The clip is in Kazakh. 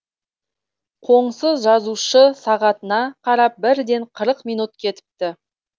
қоңсы жазушы сағатына қарап бірден қырық минут кетіпті